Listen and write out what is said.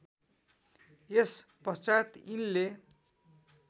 यस पश्चात यिनले